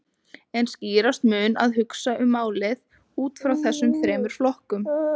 En skýrast mun að hugsa um málið út frá þessum þremur flokkum.